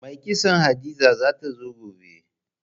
Mai kitson Hadiza za ta zo gobe.